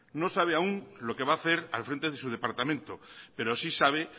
no sabe aún lo que va a hacer al frente de su departamento pero sí sabe